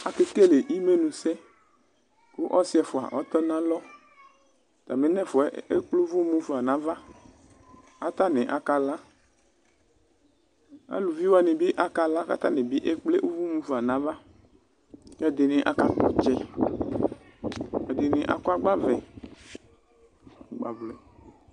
Akekele imɛnusɛ kʋ asi ɛfua atɔ nalɔ Atami nɛfua yɛ ekple ʋvʋ mofa nava kʋ atani akala Alʋvi wani bi akala kʋ atani bi ekple ʋvʋ mofa nava kʋ ɛdini akakpɔ tsɛ, ɛdini akɔ agbavlɛ, agbavlɛ